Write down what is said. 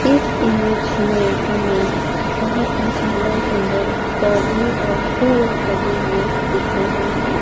इस इमेज मे हमें बहोत ही सुंदर सुंदर पौधे और फूल लगे हुए दिख रहे हैं।